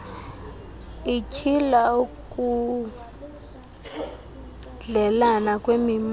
ityhila ukudleelana kwemimoya